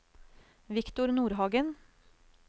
Viktor Nordhagen